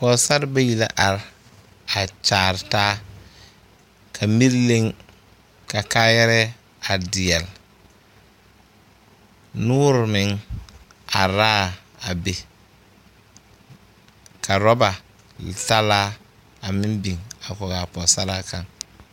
Pɔgesare bayi la are a kyaare taa ka miri leŋ ka kaayɛrɛɛ a deɛle noore meŋ are l,a be ka orɔba salaa a meŋ biŋ a kɔge a pɔgesaraa kaŋ.